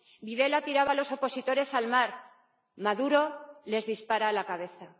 Videla tiraba a los opositores al mar. Maduro les dispara a la cabeza.